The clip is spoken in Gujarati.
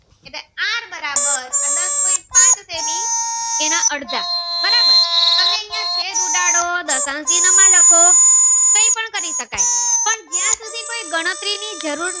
are બરાબર દસ પોઈન્ટ પાંચ જેની એના અડધા બરાબર તમે અહિયાં છેદ ઉડાડો દશાંકી માં લખો કઈ પણ કરી શકાઈ પણ જય સુધી કોઈ ગણતરી ની જરૂર ના